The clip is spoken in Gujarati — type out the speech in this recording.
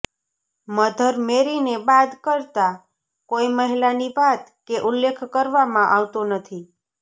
મધર મેરીને બાદ કરતા કોઈ મહિલાની વાત કે ઉલ્લેખ કરવામાં આવતો નથી